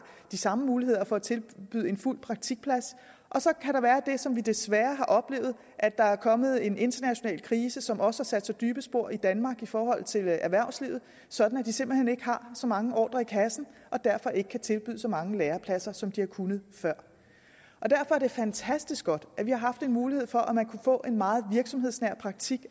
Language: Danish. de samme muligheder for at tilbyde en fuld praktikplads og så kan der være det som vi desværre har oplevet at der er kommet en international krise som også har sat sig dybe spor i danmark i forhold til erhvervslivet sådan at de simpelt hen ikke har så mange ordrer i kassen og derfor ikke kan tilbyde så mange lærepladser som de har kunnet før derfor er det fantastisk godt at vi har haft en mulighed for at man alligevel kunne få en meget virksomhedsnær praktik